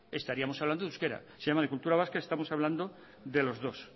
estaríamos hablando en euskera si llamo de cultura vasca estamos hablando de los dos